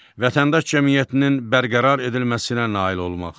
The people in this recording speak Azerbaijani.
Vətəndaş cəmiyyətinin bərqərar edilməsinə nail olmaq.